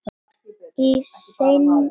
Í seinni tíð.